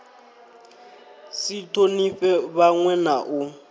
si thonifhe vhanwe na u